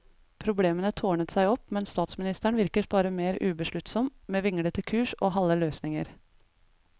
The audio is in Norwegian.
Problemene tårnet seg opp, men statsministeren virket bare mer ubesluttsom, med vinglete kurs og halve løsninger.